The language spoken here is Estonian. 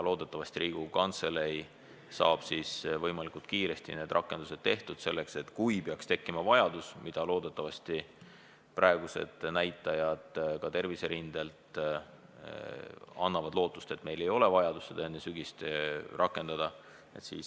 Loodetavasti saab Riigikogu Kantselei võimalikult kiiresti need rakendused tehtud selleks, et kui peaks tekkima vajadus – praegused näitajad terviserindelt annavad küll lootust, et meil seda vajadust enne sügist ei ole –, saaksime seda rakendada.